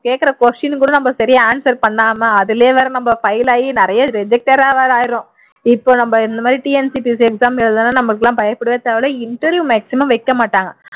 கேக்குற question க்கு கூட சரியா answer பண்ணாம அதுலயே வேற நாம fail ஆகி நிறைய reject ஆ வேற ஆயிருறோம் இப்ப நம்ம இந்த மாதிரி TNPSC exam எழுதினோம்னா நம்மளுக்கெல்லாம் பயப்படவே தேவை இல்லை interview maximum வைக்க மாட்டாங்க